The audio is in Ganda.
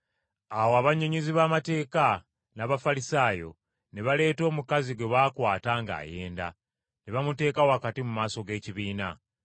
Awo abannyonnyozi b’amateeka n’Abafalisaayo ne baleeta omukazi gwe baakwata ng’ayenda, ne bamuteeka wakati mu maaso g’ekibiina.